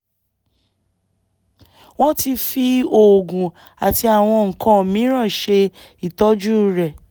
wọ́n ti fi oògùn àti àwọn nǹkan miìíràn ṣe ìtọ́jú rẹ̀